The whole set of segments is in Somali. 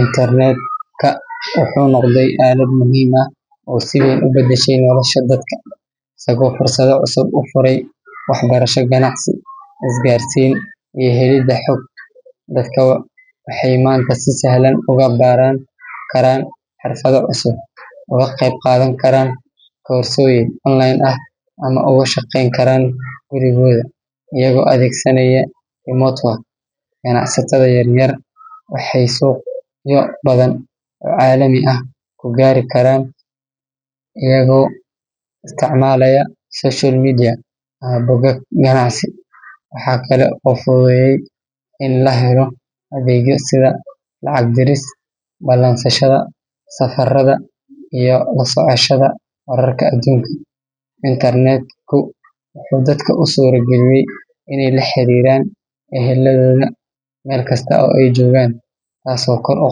Internet-ka wuxuu noqday aalad muhiim ah oo si weyn u beddeshay nolosha dadka, isagoo fursado cusub u furay waxbarasho, ganacsi, isgaarsiin iyo helidda xog. Dadka waxay maanta si sahlan ugu baran karaan xirfado cusub, uga qayb qaadan karaan koorsooyin online ah, ama uga shaqayn karaan gurigooda iyagoo adeegsanaya remote work. Ganacsatada yar yar waxay suuqyo badan oo caalami ah ku gaari karaan iyagoo isticmaalaya social media ama bogag ganacsi. Waxa kale oo uu fududeeyay in la helo adeegyo sida lacag diris, ballansashada safarada, iyo la socoshada wararka adduunka. Internet-ku wuxuu dadka u suurageliyay inay la xiriiraan eheladooda meel kasta oo ay joogaan, taasoo kor u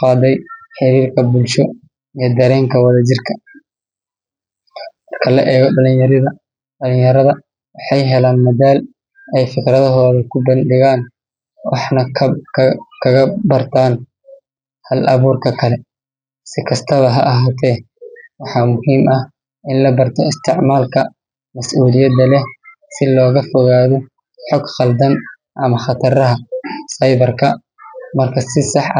qaadday xiriirka bulsho iyo dareenka wada-jirka. Marka la eego dhalinyarada, waxay helaan madal ay fikradahooda ku bandhigaan, waxna kaga bartaan hal-abuurka kale. Si kastaba ha ahaatee, waxaa muhiim ah in la barto isticmaalka mas’uuliyadda leh si looga fogaado xog khaldan ama khataraha cyber-ka. Marka si sax ah.